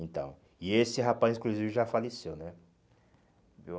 Então, e esse rapaz, inclusive, já faleceu, né? Viu